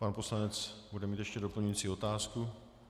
Pan poslanec bude mít ještě doplňující otázku.